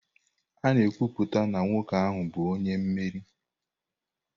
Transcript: A na-ekwupụta na nwoke ahụ bụ onye mmeri.